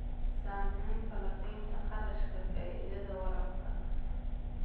Samee falanqaynta kharashka-faa'iidada waraabka.